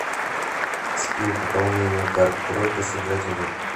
скилл пополнение карт тройка сыграть в